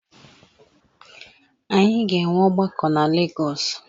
Anyị ga-enwe ọgbakọ na Legọs